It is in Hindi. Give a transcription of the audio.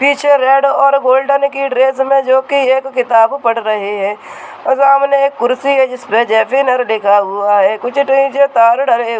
पीछे रेड और गोल्डन की ड्रेस में जो की एक किताब पढ़ रहे है सामने एक कुर्सी है जिस पर जेफीनर लिखा हुआ है कुछ नीचे तार डले हुए।